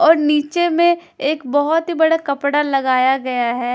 और नीचे में एक बहोत ही बड़ा कपड़ा लगाया गया है।